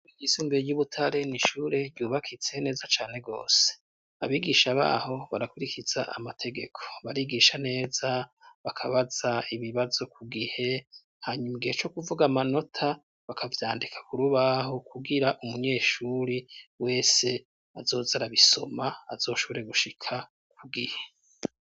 Ryisumbuye ryi Butare ni ishure ryubakitse neza cane gose abigisha baho barakurikiza amategeko barigisha neza bakabaza ibibazo ku gihe hanyumbwiye co kuvuga amanota bakavyandika kurubaho kugira umunyeshuri wese azozera bisoma azoshore gushika ku gihe.